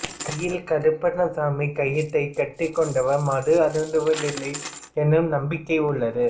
கையில் கருப்பண்ணசாமி கயிற்றைக் கட்டிக்கொண்டவர் மது அருந்துவதில்லை எனும் நம்பிக்கை உள்ளது